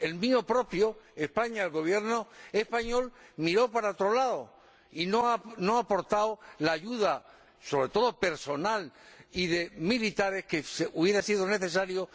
El mío, España, el Gobierno español, miró para otro lado y no ha aportado la ayuda, sobre todo personal y de militares, que hubiera sido necesaria.